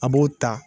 A b'o ta